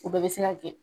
O bɛɛ bɛ se ka kɛ